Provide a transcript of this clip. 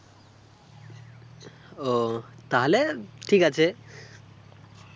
ও তাহলে ঠিক আছে